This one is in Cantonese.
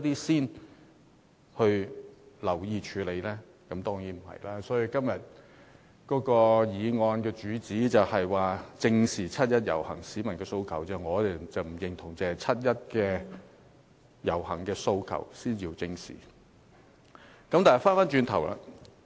所以，對於今天議案的主旨，即"正視七一遊行市民的訴求"，我們並不認同只有七一遊行的訴求才應予以正視。